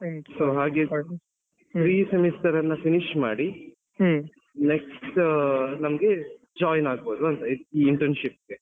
So ಹಾಗೆ three semesters ನ finish ಮಾಡಿ next ನಮ್ಗೆ join ಆಗ್ಬೋದು ಅಂತ internship ಗೆ.